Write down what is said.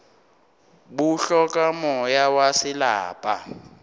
bo hloka moya wa selapa